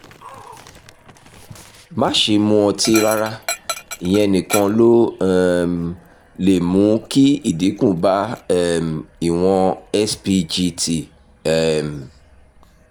má ṣe mu ọtí rárá; ìyẹn nìkan ló um lè mú kí ìdínkù bá um ìwọ̀n spgt um